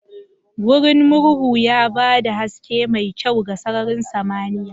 Wurin murhu ya ba da haske mai kyau ga sararin samaniya.